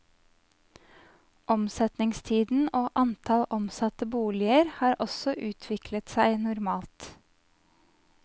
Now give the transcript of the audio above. Omsetningstiden og antall omsatte boliger har også utviklet seg normalt.